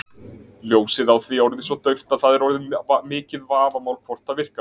Ljósið á því orðið svo dauft að það er orðið mikið vafamál hvort það virkar.